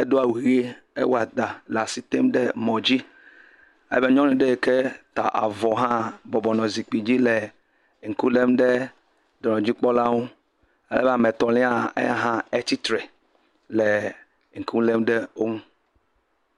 edo awu ʋie, ewɔ ɖa le asi tem ɖe mɔ dzi ale be nyɔnu ɖe yi ke ta avɔ hã bɔbɔ nɔ zikpui dzi le ŋku lém ɖe dɔnɔdzikpɔlawo ŋu eye ame etɔ̃lia gã etsi tre le ŋku lém ɖe wo ŋu.